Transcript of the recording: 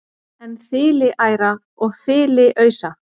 en þiliæra og þiliausa